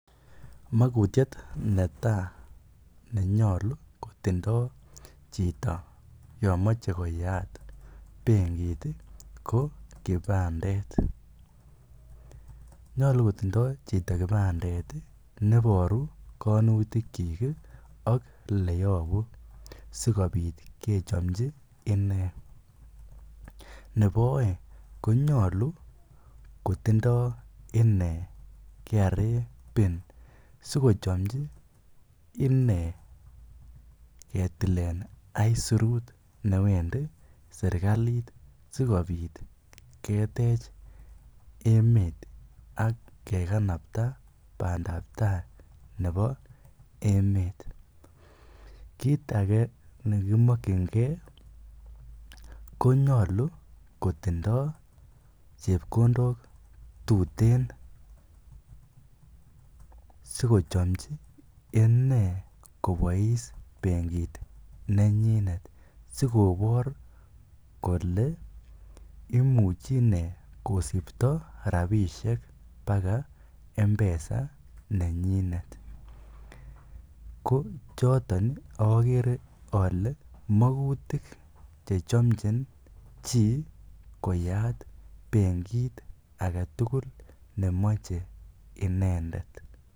Mokutiet netaa onyolu kotindo chito yoon moche koyaat benkit ko kibandet, nyolu kotindo chito kibandet neboru koinutikyik ak eleyobu sikobit kechomchi inee, nebo oeng konyolu kotindo inee KRA pin sikochomchi inee ketilen aisurut neweendi serikali sikobit ketech emet ak kekanabta bandab taai nebo emet, kiit akee nekimokyinge konyolu kotindo chepkondok tuteen sikochomchi inee kobois benkit nenyinet sikobor kolee imuchi inee kosibto rabishek baka mpesa nenyinet, ko choton okere olee mokutik chechomchin chii koyat benkit aketukul nemocheinendet.